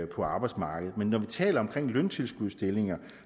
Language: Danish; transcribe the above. på arbejdsmarkedet men når vi taler om løntilskudsstillinger